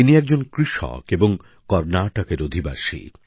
ইনি একজন কৃষক এবং কর্ণাটকের অধিবাসী